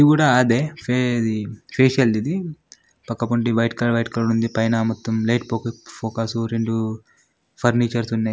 ''ఇది కూడా అదే సే ఇది ఫేషియల్ ది ఇది పక్క పొంటి వైట్ కలర్ వైట్ కలర్ ఉంది. పైన మొత్తం లైట్ పోకస్ ఫోకస్ రెండు ఫర్నిచర్స్ ఉన్నాయి.''